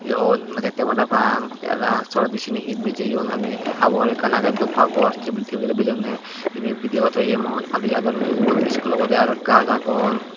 yon nirito parapang te arow toledi seni hi bijeyon ami habor ekkan agey dup habor tebulot bijeyonney yeni bidiyo gotton eye manuj aadi jadon ubon iskul obodey arow gaj agon.